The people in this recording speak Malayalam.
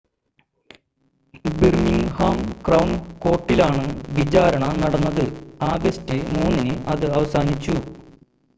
ബിർമിംങ്ഹാം ക്രൗൺ കോർട്ടിലാണ് വിചാരണ നടന്നത് ആഗസ്റ്റ് 3 ന് അത് അവസാനിച്ചു